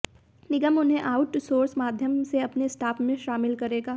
निगम उन्हें आउटसोर्स माध्यम से अपने स्टाफ में शामिल करेगा